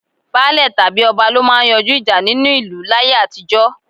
Baálè tàbí ọba lọ máa ń yanjú ìjà nínú ìlú láyé àtijó.